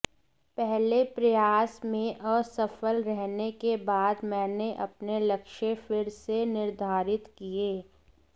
पहले प्रयास में असफल रहने के बाद मैंने अपने लक्ष्य फिर से निर्धारित किए